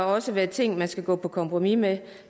også være ting man skal gå på kompromis med